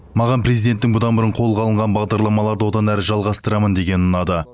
маған президенттің бұдан бұрын қолға алынған бағдарламаларды одан әрі жалғастырамын дегені ұнады